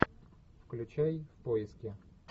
включай в поиске